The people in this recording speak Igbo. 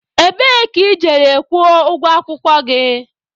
Ebee ka ị jere kwụọ ụgwọ akwụkwọ gị?